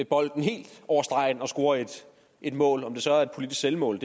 bolden helt over stregen og score et mål om det så er et politisk selvmål